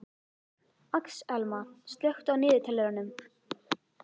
Axelma, slökktu á niðurteljaranum.